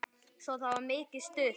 Svo það var mikið stuð.